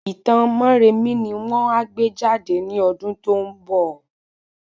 Itan Móremí ni won a gbé jade ní ọdún tó ń bọ̀